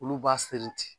Olu b'a seri ten